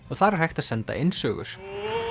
og þar er hægt að senda inn sögur